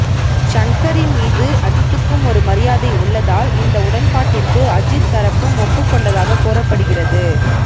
ஷங்கரின் மீது அஜீத்துக்கும் ஒரு மரியாதை உள்ளதால் இந்த உடன்பாட்டிற்கு அஜீத் தரப்பும் ஒப்புக்கொண்டதாக கூறப்படுகிறது